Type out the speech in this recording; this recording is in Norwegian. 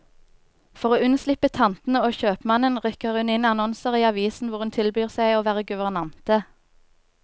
For å unnslippe tantene og kjøpmannen, rykker hun inn annonser i avisen hvor hun tilbyr seg å være guvernante.